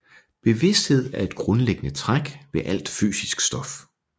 Bevidsthed er et grundlæggende træk ved alt fysisk stof